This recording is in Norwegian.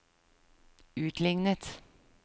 utlignet